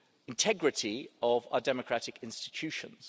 integrity of our democratic institutions.